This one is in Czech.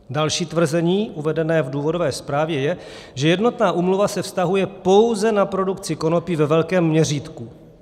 Další tvrzení uvedené v důvodové zprávě je, že jednotná úmluva se vztahuje pouze na produkci konopí ve velkém měřítku.